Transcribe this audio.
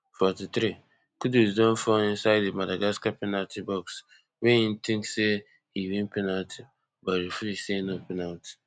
forty-threekudus don fall inside di madagascar penalty box wey im tink say he win penalty but ref say no penalty